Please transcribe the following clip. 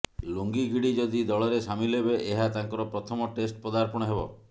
ଲୁଙ୍ଗି ଗିଡି ଯଦି ଦଳରେ ସାମିଲ ହେବେ ଏହା ତାଙ୍କର ପ୍ରଥମ ଟେଷ୍ଟ ପଦାର୍ପଣ ହେବ